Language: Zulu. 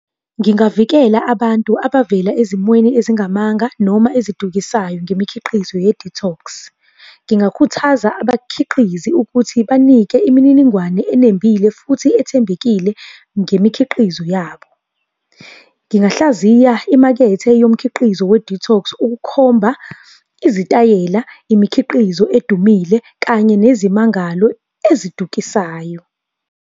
Ngingavikela abantu abavela ezimweni ezingamanga noma ezidukisayo ngemikhiqizo ye-detox. Ngingakhuthaza abakhiqizi ukuthi banike imininingwane enembile futhi ethembekile ngemikhiqizo yabo. Ngingahlaziya imakethe yomkhiqizo we-detox ukukhomba izitayela, imikhiqizo edumile, kanye nezimangalo ezidukisayo.